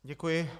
Děkuji.